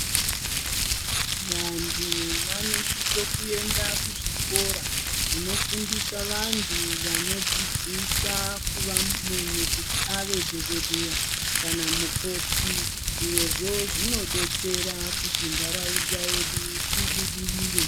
Vantu vanosisa kuenda kuzvikora zvinofundisa vantu vanodzidzisa munhu kuti ave dhokodheya kana mukoti zvirozvo zvinodetsera kuti nendaraunda yedu ibudirire.